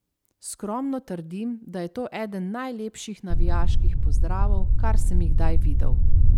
Skromno trdim, da je to eden najlepših navijaških pozdravov, kar sem jih kdaj videl.